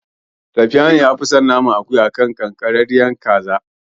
Safiyanu yafi son naman akuya a kan ƙanƙararriyar kaza.